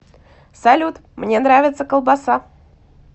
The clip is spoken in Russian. салют мне нравится колбаса